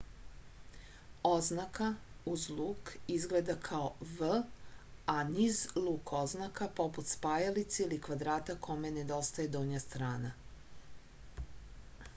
oznaka uz luk izgleda kao v a niz luk oznaka poput spajalice ili kvadrata kome nedostaje donja strana